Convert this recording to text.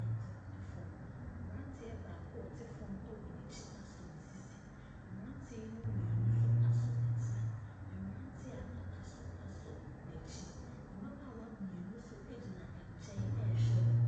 retɔ fam. Abranteɛ baako a ɔte fam wɔɔ n'akyi asɔ ne sisi. Abranteɛ yi mu mmienu nso asɔ ne nsa. Mmrante a aka nso asɔn'akyi. Mmabaawa mmienu nso gyina nkyɛn rehwɛ wɔn.